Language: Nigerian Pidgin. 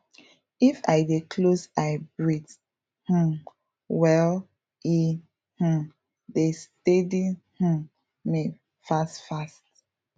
if i dey close eye breathe um well e um dey stedy um me fast fast